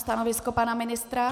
Stanovisko pana ministra?